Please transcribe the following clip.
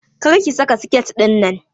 Kar ki saka siket ɗinnan!